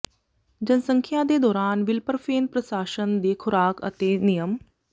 ਜਨਸੰਖਿਆ ਦੇ ਦੌਰਾਨ ਵਿਲਪਰਫੇਨ ਪ੍ਰਸ਼ਾਸਨ ਦੀ ਖੁਰਾਕ ਅਤੇ ਨਿਯਮ